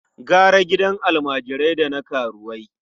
Gara gidan almajirai da na karuwai.